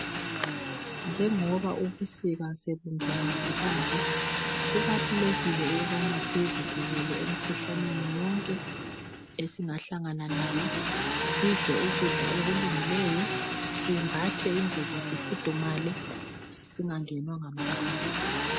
Njengoba ubusika sebungenile kanje kubalulekile ukubana sizivikele emkhuhlaneni yonke esingahlangana nayo sidle ukudla okulungileyo simbathe ingubo sifudumale singagenwa ngamakhaza.